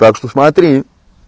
так что смотри